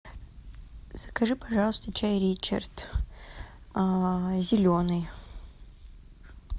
закажи пожалуйста чай ричард зеленый